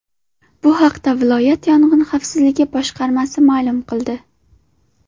Bu haqda viloyat yong‘in xavfsizligi boshqarmasi ma’lum qildi .